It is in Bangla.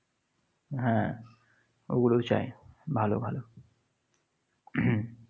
হ্যাঁ, ওগুলোও চায়। ভালো ভালো।